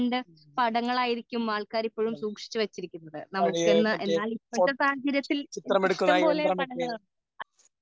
പടങ്ങൾ ആയിരിക്കും ആൾക്കാർ ഇപ്പഴും സൂക്ഷിച്ചു വച്ചിരിക്കുന്നത് നമുക്ക് എന്നാൽ ഇപ്പോഴത്തെ സാഹചര്യത്തിൽ ഇഷ്ടംപോലെ പടങ്ങൾ